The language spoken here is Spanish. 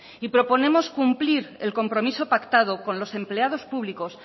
y proponemos cumplir el compromiso pactado con los empleados públicos